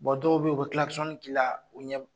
dɔw bɛ yen u bɛ k'i la u ɲɛ